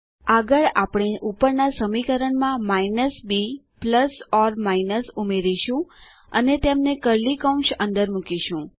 આગળ આપણે ઉપરના સમીકરણમાં minus b plus or minus ઉમેરીશું અને તેમને કર્લી કૌંસ અંદર મુકીશું